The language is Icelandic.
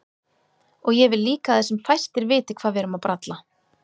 Og ég vil líka að sem fæstir viti hvað við erum að bralla.